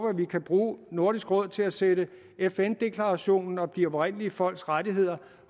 at vi kan bruge nordisk råd til at sætte fn deklarationen om de oprindelige folks rettigheder